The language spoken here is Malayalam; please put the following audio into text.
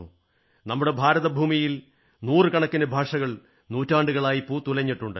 നമ്മുടെ ഭാരതഭൂമിയിൽ നൂറു കണക്കിന് ഭാഷകൾ നൂറ്റാണ്ടുകളായി പൂത്തുലഞ്ഞിട്ടുണ്ട്